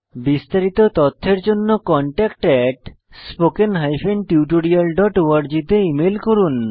বিস্তারিত তথ্যের জন্য contactspoken tutorialorg তে ইমেল করুন